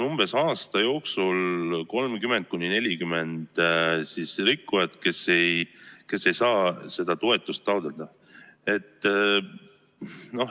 Aasta jooksul on neid umbes 30–40, kes ei saa seda toetust taotleda.